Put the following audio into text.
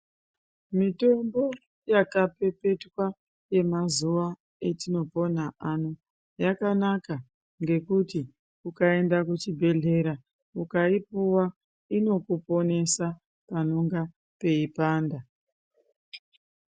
Mitombo yakapepetwa yemazuva etinopona ano yakanaka ngekuti ukaenda kuchibhedhlera ukaipiwa inokuponesa panonga peipanda .